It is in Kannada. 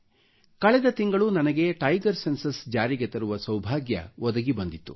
ಕಳೆದ ತಿಂಗಳು ನನಗೆ ಟೈಗರ್ ಸೆನ್ಸಸ್ ಜಾರಿಗೆ ತರುವ ಸೌಭಾಗ್ಯ ಒದಗಿ ಬಂದಿತ್ತು